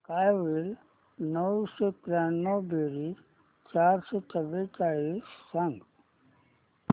काय होईल नऊशे त्र्याण्णव बेरीज चारशे चव्वेचाळीस सांग